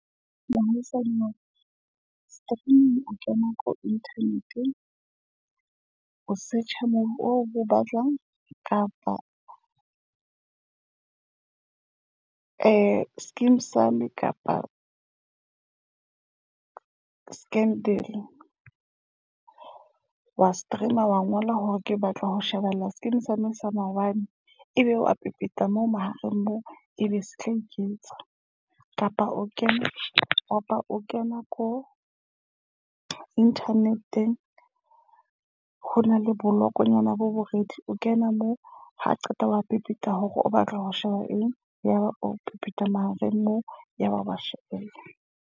Mosadi mo streaming o kena ko internet o search-a mobu oo bo batlwang kapa ng Skeem sam kapa Scandal, wa stream-a wa ngola hore ke batla ho shebella Skeem sam sa maobane. Ebe wa pepeta moo mahareng moo. Ebe se tla iketsa kapa o kena o kena ko inthaneteng, ho na le bolokongnyana bo boredi o kena moo. Ha o qeta wa pepeta ka hore o batla ho sheba eng. Yaba o pepeta mahareng moo, yaba wa shebella.